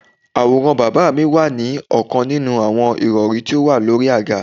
Àwòrán bàbá mi wà ní ọkan ninu àwọn irọrun tó wà lórí àga.